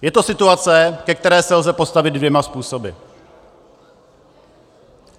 Je to situace, ke které se lze postavit dvěma způsoby.